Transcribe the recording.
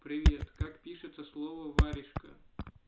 привет как пишется слово варежка